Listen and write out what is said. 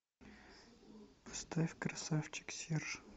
поставь красавчик серж